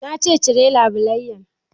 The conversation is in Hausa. Na ce 'Cire labulaiyan'!